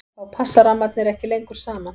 þá passa rammarnir ekki lengur saman